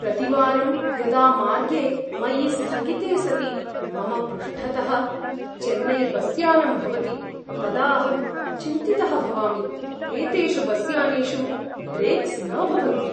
प्रतिवारं यदा मार्गे मयि स्थगिते सति मम पृष्ठतः चेन्नैबस्यानम् भवति तदा अहं चिन्तितः भवामि, एतेषु बस्यानेषु ब्रेक्स् न भवन्ति।